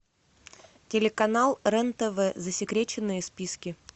телеканал рен тв засекреченные списки